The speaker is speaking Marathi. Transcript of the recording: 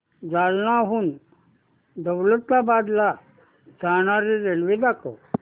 जालन्याहून दौलताबाद ला जाणारी रेल्वे दाखव